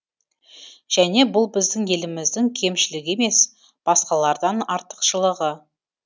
және бұл біздің еліміздің кемшілігі емес басқалардан артықшылығы